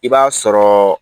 I b'a sɔrɔ